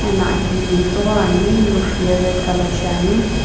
na aki ye metsughoi ani roof ye red color shiani.